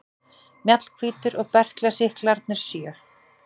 Mjallhvítur og berklasýklarnir sjö.